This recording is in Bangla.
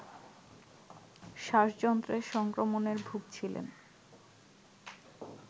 শ্বাসযন্ত্রের সংক্রমণের ভুগছিলেন